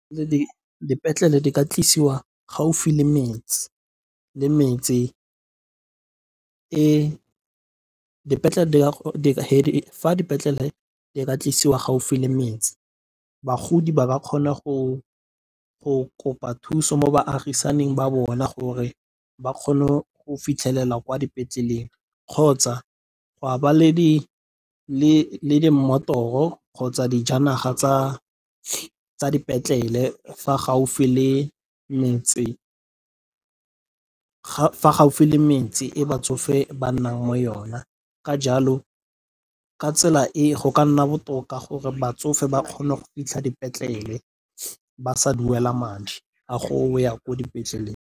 Fa dipetlele di ka tlisiwa gaufi le metse bagodi ba ka kgona go kopa thuso mo baagisaneng ba bona gore ba kgone go fitlhelela kwa dipetleleng kgotsa gwa ba le di mmotoro kgotsa dijanaga tsa dipetlele fa gaufi le metse e batsofe ba nnang mo yona. Ka jalo ka tsela e go ka nna botoka gore batsofe ba kgone go fitlha dipetlele ba sa duela madi a go ya ko dipetleleng.